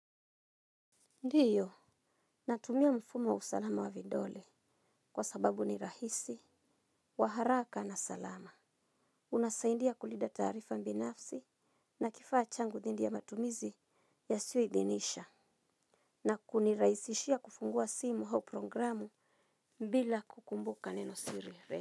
Ndiyo, natumia mfumo wa usalama wa vidole kwa sababu ni rahisi, waharaka na salama. Unasaindia kulida tarifa mbinafsi na kifaa changu dhindi ya matumizi yasio idhinisha. Na kuniraisishia kufungua simu hau programu bila kukumbuka neno siri re.